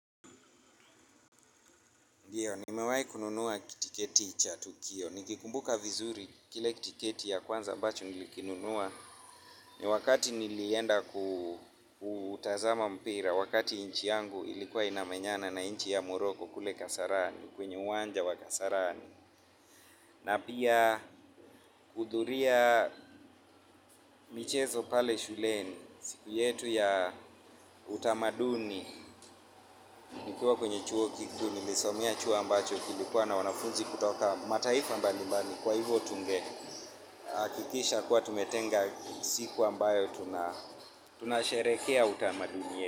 Ndio, nimewahi kununua kitiketi cha tukio. Nikikumbuka vizuri kile kitiketi ya kwanza ambacho nilikinunua. Ni wakati nilienda kutazama mpira, wakati nchi yangu ilikuwa inamenyana na nchi ya moroko kule kasarani, kwenye uwanja wa kasarani. Na pia kuhudhuria michezo pale shuleni, siku yetu ya utamaduni, nikiwa kwenye chuo kikuu, nilisomea chuo ambacho kilikuwa na wanafunzi kutoka. Mataifa mbali mbali kwa hivyo tunge hakikisha kuwa tumetenga siku ambayo tunasherekea utamaduni yetu.